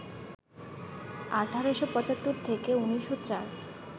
১৮৭৫ থেকে ১৯০৪